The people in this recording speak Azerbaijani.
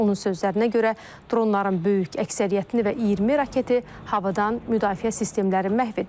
Onun sözlərinə görə, dronların böyük əksəriyyətini və 20 raketi havadan müdafiə sistemləri məhv edib.